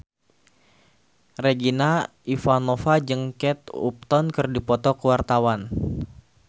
Regina Ivanova jeung Kate Upton keur dipoto ku wartawan